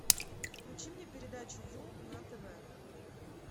включи мне передачу ю на тв